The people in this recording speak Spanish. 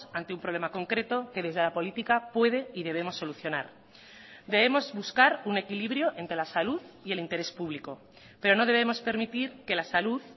ante un problema concreto que desde la política puede y debemos solucionar debemos buscar un equilibrio entre la salud y el interés público pero no debemos permitir que la salud